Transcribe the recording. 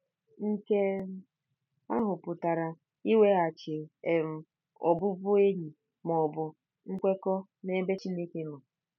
Nke ahụ pụtara iweghachi um ọbụbụenyi ma ọ bụ nkwekọ n'ebe Chineke nọ..